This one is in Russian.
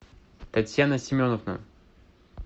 татьяна семеновна